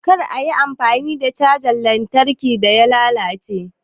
Kar a yi amfani da cajar lantarkin da ta lalace